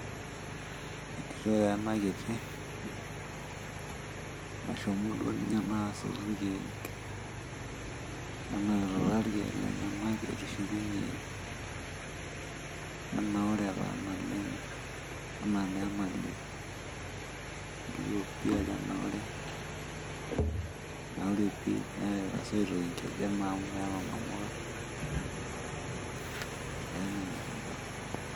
Entito taa ena kiti, nashomo duo ninye naa asotu irkiek, nenapita taa irkiek lenyanak etushukunyie, etenaure taa naleng enaa naa enalio. Elio pii ajo etanaure, etanaure pii , neerita isoitok inkejek amu meeta inamuka, ee enanyor enkai.